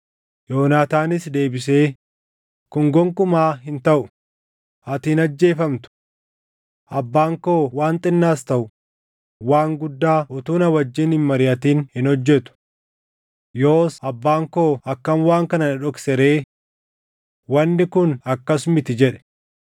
Yoonaataanis deebisee, “Kun gonkumaa hin taʼu; ati hin ajjeefamtu! Abbaan koo waan xinnaas taʼu waan guddaa utuu na wajjin hin mariʼatin hin hojjetu. Yoos abbaan koo akkam waan kana na dhoksa ree? Wanni kun akkas miti!” jedhe.